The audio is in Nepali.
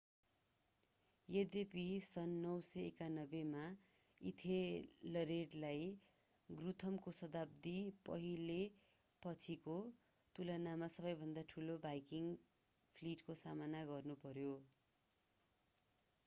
यद्यपि सन् 991 मा इथलरेडलाई गुथ्रमको शताब्दी पहिले पछिको तुलनामा सबैभन्दा ठूलो भाइकिङ्ग फ्लिटको सामना गर्नु पर्‍यो।